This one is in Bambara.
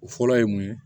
O fɔlɔ ye mun ye